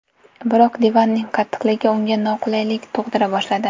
Biroq divanning qattiqligi unga noqulaylik tug‘dira boshladi.